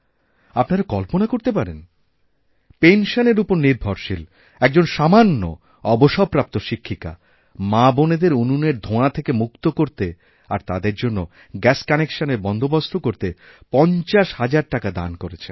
আপনারা কল্পনা করতে পারেন পেনশনের উপর নির্ভরশীলএকজন সামান্য অবসরপ্রাপ্ত শিক্ষিকা মাবোনেদের উনুনের ধোঁয়া থেকে মুক্ত করতে আরতাদের জন্য গ্যাস কানেকশানএর বন্দোবস্ত করতে পঞ্চাশ হাজার টাকা দান করেছেন